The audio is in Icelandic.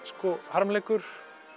harmleikur